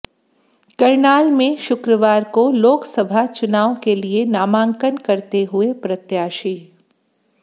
करनाल में शुक्रवार को लोकसभा चुनाव के लिए नामांकन करते हुए प्रत्याशी